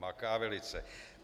Maká velice.